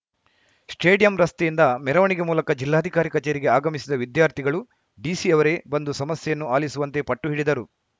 stadium ರಸ್ತೆಯಿಂದ ಮೆರವಣಿಗೆ ಮೂಲಕ ಜಿಲ್ಲಾಧಿಕಾರಿ ಕಚೇರಿಗೆ ಆಗಮಿಸಿದ ವಿದ್ಯಾರ್ಥಿಗಳು ಡಿಸಿ ಅವರೇ ಬಂದು ಸಮಸ್ಯೆಯನ್ನು ಆಲಿಸುವಂತೆ ಪಟ್ಟು ಹಿಡಿದರು